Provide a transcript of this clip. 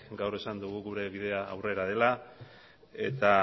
gaur esan dugu gure bidea aurrera dela eta